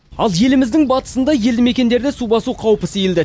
ал еліміздің батысында елді мекендерді су басу қаупі сейілді